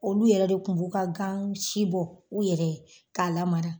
Olu yɛrɛ de kun b'u ka gan si bɔ u yɛrɛ ye k'a la mara.